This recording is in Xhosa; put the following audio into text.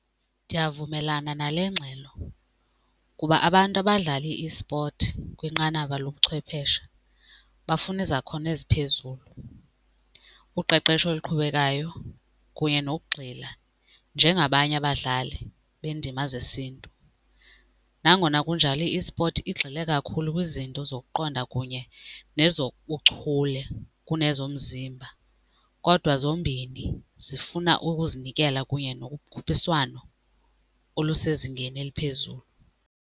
Ndiyavumelana nale ngxelo kuba abantu abadlala ispothi kwinqanaba lobuchwepheshe bafuna izakhono eziphezulu, uqeqesho oluqhubekayo kunye nokugxila njengabanye abadlali beendima zesiNtu. Nangona kunjalo ispothi igxile kakhulu kwizinto zokuqonda kunye nezobuchule kunezomzimba kodwa zombini zifuna ukuzinikela kunye nokukhuphiswano okusezingeni eliphezulu.